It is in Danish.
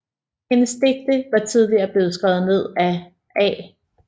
Hendes digte var tidligere blevet skrevet ned af A